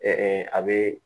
a bɛ